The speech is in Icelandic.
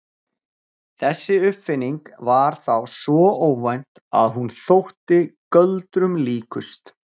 Þessi uppfinning var þá svo óvænt að hún þótti göldrum líkust.